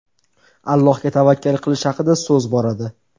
Allohga tavakkal qilish haqida so‘z boradi.